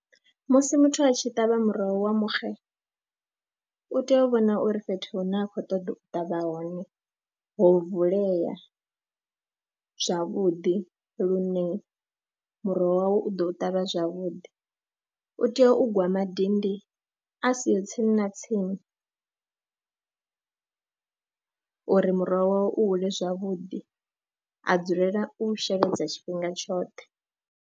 Musi muthu a tshi ṱavha muroho wa muxe u tea u vhona uri fhethu hune a khou ṱoḓa u ṱavha hone ho vulea zwavhuḓi lune muroho wawe u ḓo ṱavha zwavhuḓi, u tea u gwa madindi a siho tsini na tsini uri muroho wawe u hula zwavhuḓi, a dzulela u sheledza tshifhinga tshoṱhe.